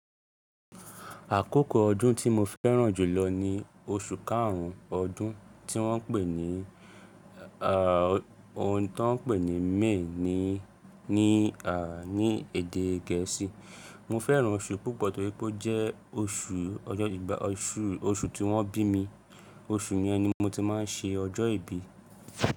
Àkókò ọdún tí mo fẹ́ràn jùlọ ni oṣù karun ọdún tí wọ́n ń pè ní à, ohun tó ń pè ní May ní à ní èdè gẹ̀ẹ́sì. Mo fẹ́ràn oṣù yi púpọ̀ torí pé ó jẹ́ oṣù ọjọ́, oṣù, oṣù tí wọ́n bí mi. Oṣù yẹn ni mo ti má ń ṣe ọjọ́ ìbí.